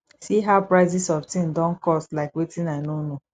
see how prices of things don cost like wetin i no know